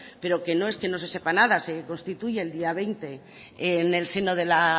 pero que no es que no se sepa nada se constituye el día veinte en el seno de la